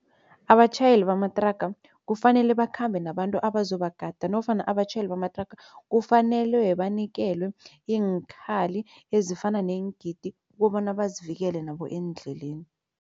Abatjhayeli bamathraga kufanele bakhambe nabantu abazobagada nofana abatjhayeli bamathraga kufanelwe banikelwe iinkhali ezifana neengidi kobana bazivikele nabo eendleleni.